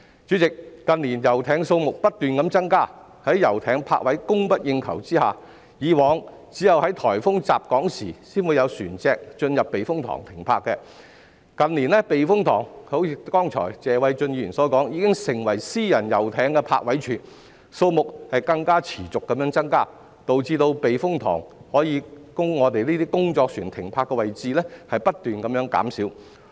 主席，近年遊艇數目不斷增加，遊艇泊位供不應求，以往只有在颱風襲港時才會有船隻進入避風塘停泊，但正如剛才謝偉俊議員所說，近年避風塘已經成為私人遊艇的泊位處，數目更持續增加，導致避風塘可供工作船停泊的泊位不斷減少。